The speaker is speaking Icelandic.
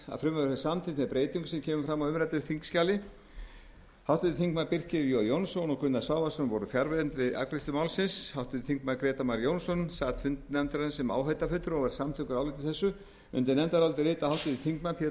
samþykkt með breyting sem kemur fram á umræddu þingskjali háttvirtir þingmenn birkir j jónsson og gunnar svavarsson voru fjarverandi við afgreiðslu málsins háttvirtir þingmenn grétar mar jónsson sat fund nefndarinnar sem áheyrnarfulltrúi og er samþykkur áliti þessu undir nefndarálitið rita háttvirtir þingmenn pétur